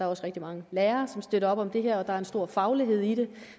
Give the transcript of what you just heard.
også rigtig mange lærere som støtter op om det her og der er en stor faglighed i det